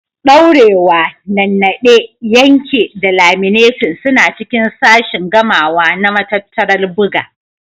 Daurewa, Nannaɗe, Yanke da Laminating suna cikin sashin gamawa na matattarar buga.